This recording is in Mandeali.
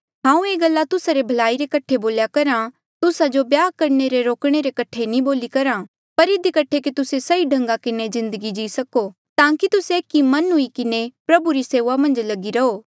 हांऊँ यूँ गल्ला तुस्सा री भलाई रे कठे बोल्या करहा तुस्सा जो ब्याह करणे ले रोकणे रे कठे नी बोली करहा पर इधी कठे कि तुस्से सही ढंगा किन्हें जिन्दगी जी सको ताकि तुस्से एक मन हुई किन्हें प्रभु री सेऊआ मन्झ लगी रहो